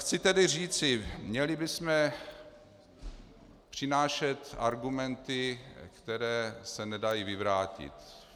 Chci tedy říci, měli bychom přinášet argumenty, které se nedají vyvrátit.